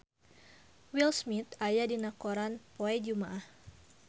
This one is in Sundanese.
Will Smith aya dina koran poe Jumaah